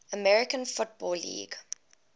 american football league